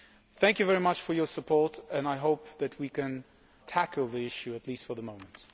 Thank you very much for your support and I hope that we can tackle the issue at least for the moment.